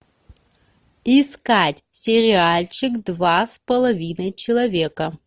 искать сериальчик два с половиной человека